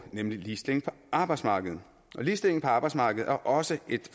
nemlig ligestilling på arbejdsmarkedet ligestilling på arbejdsmarkedet er også